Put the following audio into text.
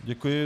Děkuji.